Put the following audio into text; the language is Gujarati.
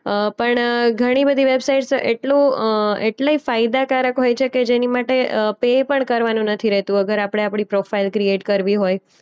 અ પણ ઘણીબધી વેબસાઈટ્સ તો એટલું અ એટલી ફાયદાકારક હોય છે કે જેની માટે અ પે પણ કરવાનું નથી રહેતું અગર આપણે આપણી પ્રોફાઈલ ક્રિએટ કરવી હોય.